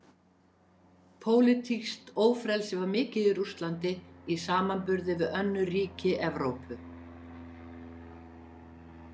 Pólitískt ófrelsi var mikið í Rússlandi í samanburði við önnur ríki Evrópu.